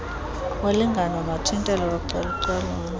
wolingano nothintelo localucalulo